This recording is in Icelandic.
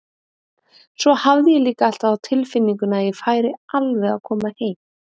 Svo hafði ég líka alltaf á tilfinningunni að ég færi alveg að koma heim.